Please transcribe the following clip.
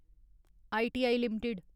I T I limited